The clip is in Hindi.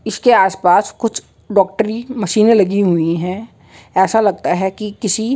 इसके आसपास कुछ डाक्टरी मशीनें लगी हुई हैं। ऐसा लगता है कि किसी --